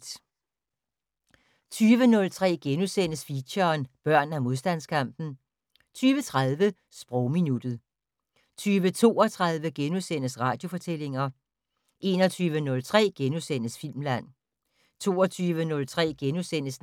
20:03: Feature: Børn af modstandskampen * 20:30: Sprogminuttet 20:32: Radiofortællinger * 21:03: Filmland * 22:03: